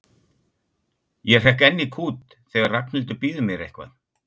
Ég hrekk enn í kút þegar Ragnhildur býður mér eitthvað.